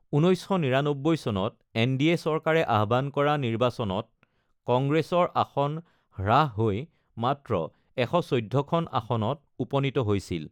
১৯৯৯ চনত এনডিএ চৰকাৰে আহ্বান কৰা নিৰ্বাচনত কংগ্ৰেছৰ আসন হ্ৰাস হৈ মাত্ৰ ১১৪ খন আসনত উপনীত হৈছিল।